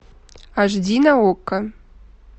аш ди на окко